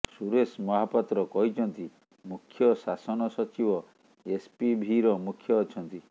ସୁରେଶ ମହାପାତ୍ର କହିଛନ୍ତି ମୁଖ୍ୟ ଶାସନ ସଚିବ ଏସପିଭିର ମୁଖ୍ୟ ଅଛନ୍ତି